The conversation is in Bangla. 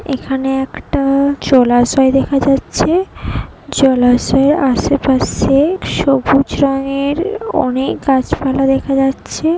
এখানে একটা জলাশয় দেখা যাচ্ছে জলাশয়ের আশেপাশে সবুজ রঙের অনেক গাছপালা দেখা যাচ্ছে।